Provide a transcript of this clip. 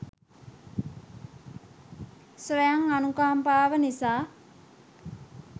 ස්වයං අනුකම්පාව නිසා